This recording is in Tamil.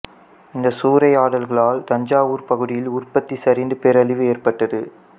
இந்த சூறையாடல்களால் தஞ்சாவூர் பகுதியில் உற்பத்தி சரிந்து பேரழிவு ஏற்பட்டது